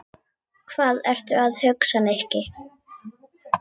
Hvað ertu að hugsa, Nikki?